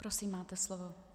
Prosím, máte slovo.